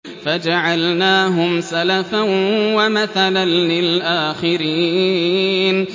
فَجَعَلْنَاهُمْ سَلَفًا وَمَثَلًا لِّلْآخِرِينَ